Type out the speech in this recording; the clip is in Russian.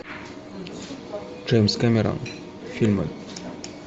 джеймс кэмерон фильмы